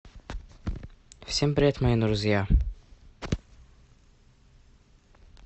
всем привет мои друзья